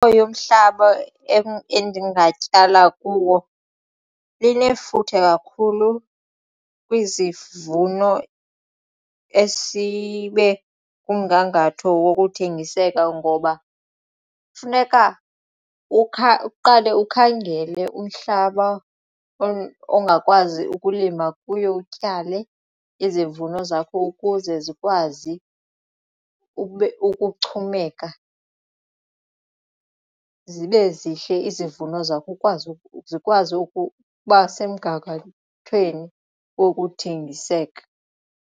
yomhlaba endingatyala kuwo linefuthe kakhulu kwizivuno esibe kumgangatho wokuthengiseka ngoba kufuneka uqale ukhangele umhlaba ongakwazi ukulima kuyo utyale izivuno zakho ukuze zikwazi ukuchumeka zibe zihle izivuno zakho zikwazi ukuba semgangathweni wokuthengiseka.